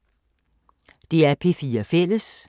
DR P4 Fælles